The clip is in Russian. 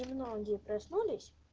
и многие проснулись